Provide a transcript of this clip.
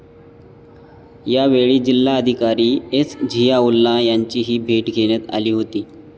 यावेळी जिल्हाधिकारी एस. झियाउल्ला यांचीही भेट घेण्यात आली होती.